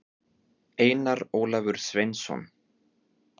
einar ólafur sveinsson